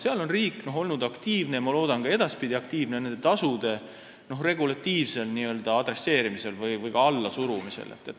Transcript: Seal on riik olnud aktiivne – ja ma loodan, et on ka edaspidi aktiivne – nende tasude regulatiivsel n-ö adresseerimisel või ka allasurumisel.